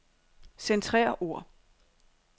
Centrer ord.